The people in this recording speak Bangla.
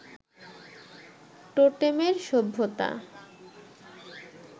টোটেমের সভ্যতা